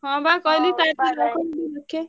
ହଁ ବା କହିଲି।